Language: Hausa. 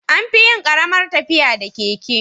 Anfiyin Karamar tafiya da keke